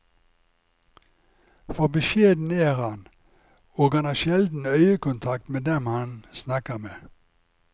For beskjeden er han, og han har sjelden øyekontakt med dem han snakker med.